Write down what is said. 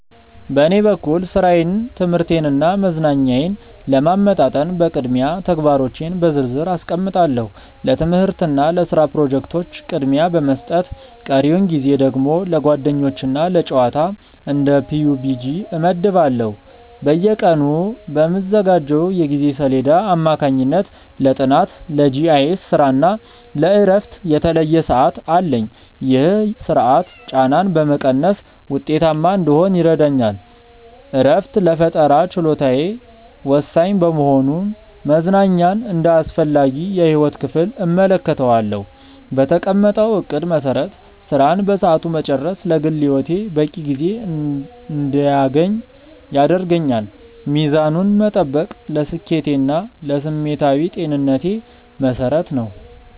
በኔ በኩል ሥራዬን ትምህርቴንና መዝናኛዬን ለማመጣጠን በቅድሚያ ተግባሮቼን በዝርዝር አስቀምጣለሁ። ለትምህርትና ለስራ ፕሮጀክቶች ቅድሚያ በመስጠት ቀሪውን ጊዜ ደግሞ ለጓደኞችና ለጨዋታ (እንደ PUBG) እመድባለሁ። በየቀኑ በምዘጋጀው የጊዜ ሰሌዳ አማካኝነት ለጥናት፣ ለGIS ስራና ለእረፍት የተለየ ሰዓት አለኝ። ይህ ስርዓት ጫናን በመቀነስ ውጤታማ እንድሆን ይረዳኛል። እረፍት ለፈጠራ ችሎታዬ ወሳኝ በመሆኑ መዝናኛን እንደ አስፈላጊ የህይወት ክፍል እመለከተዋለሁ። በተቀመጠው እቅድ መሰረት ስራን በሰዓቱ መጨረስ ለግል ህይወቴ በቂ ጊዜ እንድያገኝ ያደርገኛል። ሚዛኑን መጠበቅ ለስኬቴና ለስሜታዊ ጤንነቴ መሰረት ነው።